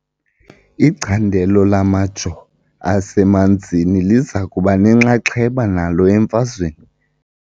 Icandelo lamajoo asemanzini liza kuba nenxaxheba nalo emfazweni .